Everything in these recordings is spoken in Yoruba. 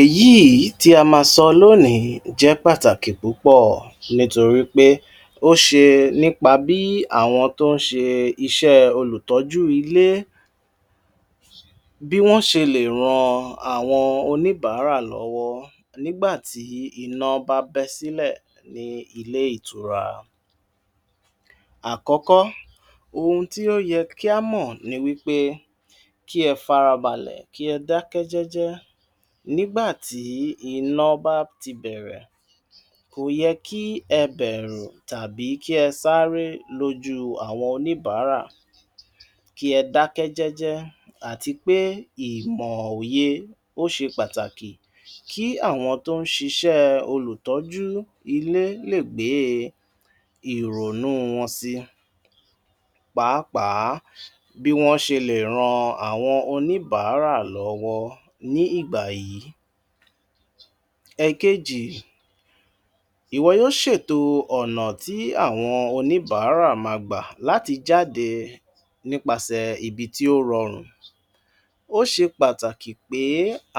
Èyíìí tí a ma sọ lónìí jẹ́ pàtàkì púpọ̀ nítorí pé ó ṣe nípa bí àwọn tó ń ṣe iṣẹ́ẹ olùtọ́jú ilé bí wọ́n ṣe lè ran àwọn oníbàárà lọ́wọ́ nígbà tí iná bá bẹ́ sílẹ̀ ní ilé-ìtura. Àkọ́kọ́, ohun tí ó yẹ kí á mọ̀ ni wí pé kí ẹ farabalẹ̀, kí ẹ dákẹ́ jẹ́jẹ́ nígbà tí iná bá ti bẹ̀rẹ̀. Kò yẹ kí ẹ bẹ̀rù tàbí kí ẹ sáré lójú àwọn oníbàárà. Kí ẹ dákẹ́ jẹ́jẹ́ àti pé ìmọ̀ òye, ó ṣe pàtàkì kí àwọn tó ń ṣiṣẹ́ẹ olùtọ́jú ilé lè gbée ìrònú wọn si pàápàá, bí wọ́n ṣe lè ran àwọn oníbàárà lọ́wọ́ ní ìgbà yìí. Ẹ̀kejì, ìwọ yó ṣètò ọ̀nà tí àwọn oníbàárà ma gbà láti jáde nípasẹ̀ ibi tí ó rọrùn. Ó ṣe pàtàkì pé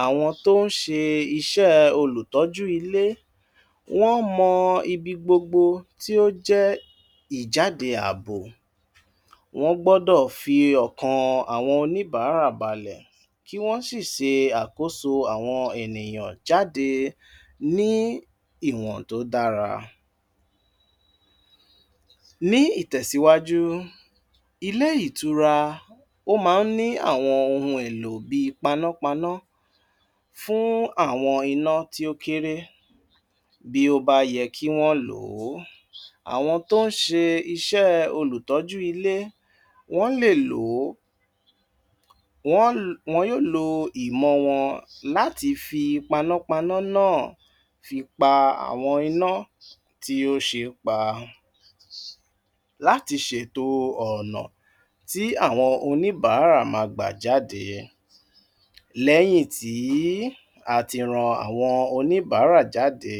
àwọn tó ń ṣe iṣẹ́ẹ olùtọ́jú ilé, wọ́n mọ ibigbogbo tí ó jẹ́ ìjáde ààbò. Wọ́n gbọ́dọ̀ fi ọkàn àwọn oníbàárà balẹ̀ kí wọ́n sì se àkóso àwọn ènìyàn jáde ní ìwọ̀n tó dára. Ní ìtẹ̀síwájú, ilé-ìtura, ó máa ń ní àwọn ohun èlò bíi panápaná fún àwọn iná tí ó kéré bí ó bá yẹ kí wọ́n lò ó. Àwọn tó ń ṣe iṣẹ́ olùtọ́jú ilé, wọ́n lè lò ó, wọ́n, wọn yó lo ìmọ̀ wọn láti fi panápaná náà fi pa àwọn iná tí ó ṣe é pa láti ṣètò ọ̀nà tí àwọn oníbàárà ma gbà jáde. Lẹ́yìn tí a ti ran àwọn oníbàárà jáde,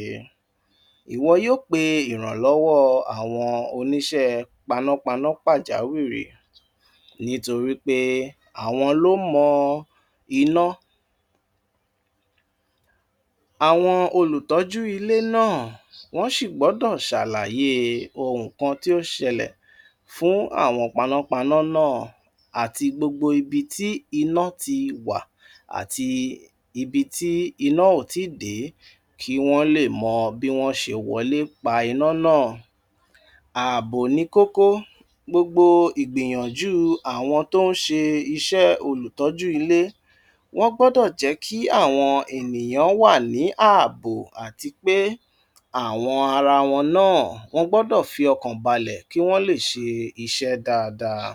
ìwọ yó pe ìrànlọ́wọ́ àwọn oníṣẹ́ panápaná pàjáwìrì nítorí pé àwọn ló mọ iná. Àwọn olùtọ́jú ilé náà, wọ́n ṣì gbọ́dọ̀ ṣàlàyé ohùn kan tí ó ṣẹlẹ̀ fún àwọn panápaná náà àti gbogbo ibi tí iná ti wà àti ibí tí iná ò tí ì dé kí wọ́n lè mọ bí wọ́n ṣe wọlé pa iná náà. Ààbò ni kókó gbogbo ìgbìyànjú àwọn tó ń ṣe iṣẹ́ olùtọ́jú ilé. Wọ́n gbọ́dọ̀ jẹ́ kí àwọn ènìyàn wà ní ààbò àti pé àwọn ara wọn náà, wọ́n gbọ́dọ̀ fi ọkàn balẹ̀ kí wọ́n lè ṣe iṣẹ́ dáadáa.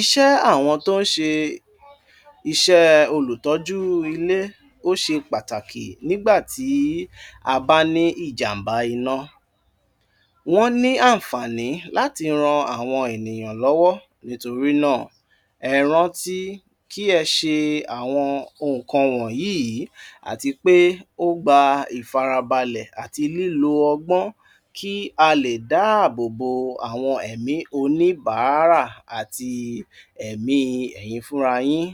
Iṣẹ́ àwọn tó ń ṣe iṣẹ́ẹ olùtọ́jú ilé ó ṣe pàtàkì nígbà tí a bá ní ìjàm̀bá iná. Wọ́n ní ànfààní láti ran àwọn ènìyàn lọ́wọ́. Nítorí náà, ẹ rántí kí ẹ ṣe àwọn ohùn kan wọ́nyíìí àti pé ó gba ìfarabalẹ̀ àti lílo ọgbọ́n kí a lè dáàbò bo àwọn ẹ̀mí oníbàárà àti ẹ̀mí ẹ̀yin fúnra yín.